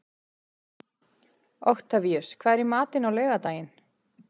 Oktavíus, hvað er í matinn á laugardaginn?